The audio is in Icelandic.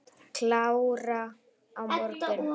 Klára á morgun.